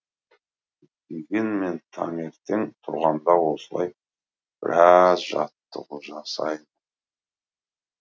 дегенмен таңертең тұрғанда осылай біраз жаттығу жасаймын